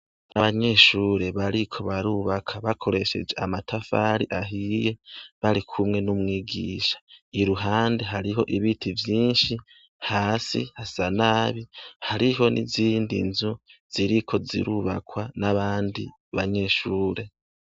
Abanyeshuri bariko barubaka bakoresheje amatafari ahiye ,barikumwe n'umwigisha .Iruhande hariho ibiti vyinshi, hasi hasa nabi hariho n' izindi nzu ziriko zirubakwa n'abandi banyeshure.